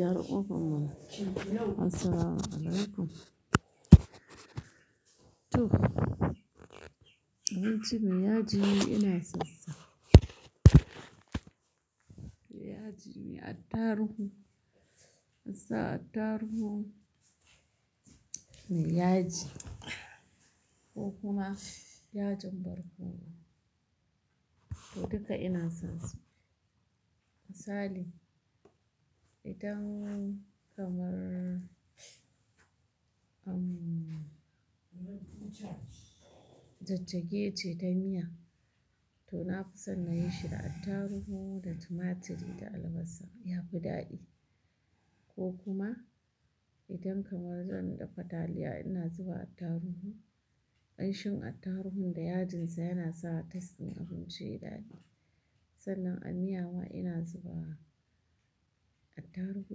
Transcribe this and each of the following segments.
Yar ubun mu, assalamu alaikum. To, abinci mai yaji ina son sa. Mai yaji, me attarugu, asa attarugu, mai yaji ko kuma yajin barkono. To duka ina son su. Misali, idan kamar, umm, jajjage ce ta miya to na fi son na yi shi da attarugu da tumaturi da albasa ya fi daɗi. Ko kuma idan kamar zan dafa taliya ina zuba attaruhu. Ƙanshin attarugun da yajinsa yana sa tasdin abinci yayi ɗaɗi. Sannan a miya ma ina zuba attaruhu,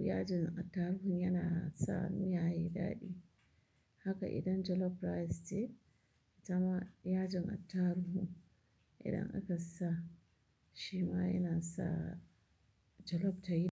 yajin attaruhu yana sa miya yayi daɗi. Haka idan jollof rice ce, itama yajin attarugu idan aka sa shi ma yana sa jollof tayi.